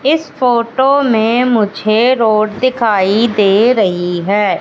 इस फोटो में मुझे रोड दिखाई दे रहीं हैं।